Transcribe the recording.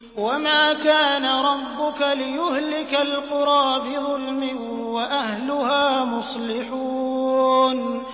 وَمَا كَانَ رَبُّكَ لِيُهْلِكَ الْقُرَىٰ بِظُلْمٍ وَأَهْلُهَا مُصْلِحُونَ